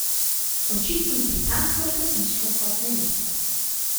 Očitno z britansko lepotičko kot nevesto.